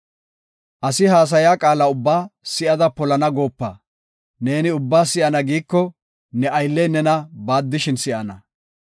Asi haasaya qaala ubbaa si7ada polana goopa; neeni ubbaa si7ana giiko ne aylley nena baaddishin si7ana.